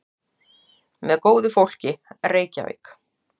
Með góðu fólki, Reykjavík.